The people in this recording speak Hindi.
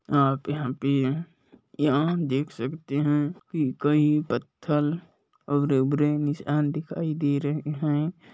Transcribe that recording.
आप यहाँ पे यहाँ हम देख सकते है की कई पत्थर और दिखाई दे रहे हैं।